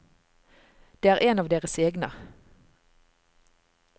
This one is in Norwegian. Det er en av deres egne.